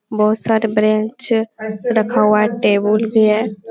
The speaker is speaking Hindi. बहुत सारे बेंच रखा हुआ है टेबुल भी है।